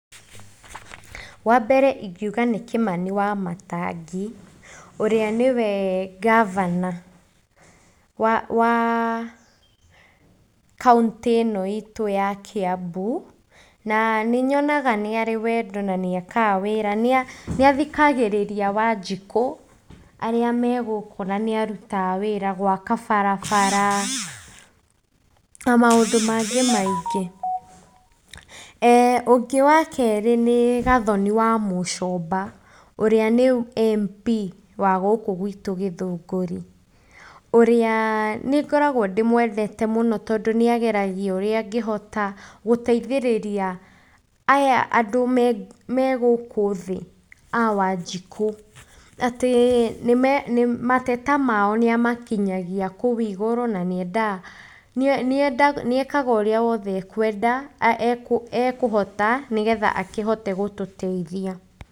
Wambere ingĩuga nĩ Kimani wa Matangi, ũrĩa nĩwe Gavana, wa wa, kauntĩ ĩno itũ ya Kiambu na nĩ nyonaga nĩ arĩ wendo na nĩ ekaga wĩra nĩathikagĩrĩria Wanjikũ, arĩa megũkũ na nĩ arutaga wĩra gwaka barabara, na maũndũ mangĩ maingĩ. Ũngĩ wa kerĩ nĩ Gathoni wa mũcoba, ũrĩa nĩ Mp wa gũkũ gwitũ Gĩthũngũri, ũrĩa nĩ ngoragwo ndĩmwete mũno tondũ nĩ ageragĩa ũrĩa angĩhota gũteithĩria aya andũ megũkũ thĩ, a Wanjiku, atĩ mateta mao nĩ amakinyagia kũu igũrũ na nĩ endaga, nĩ ekaga ũrĩa wothe akwenda, ekũhota nĩgetha akĩhote gũtũteithia.